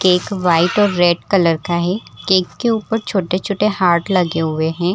Cake white और red colour का है केक के ऊपर छोटे-छोटे हार्ट लगे हुए हैं।